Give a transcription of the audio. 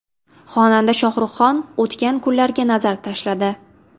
Xonanda Shohruxxon o‘tgan kunlarga nazar tashladi.